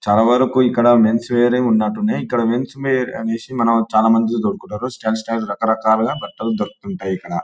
చాలావరకు ఇక్కడ men's wear హే ఉన్నట్టు ఉన్నాయి. ఇక్కడ మెన్స్ వేర్ అనేసి మనం చాలామంది కొనుక్కుంటారు. స్టాండ్ సైజ్ రకరకాలుగా బట్టలు దొరుకుతుంటాయి ఇక్కడ.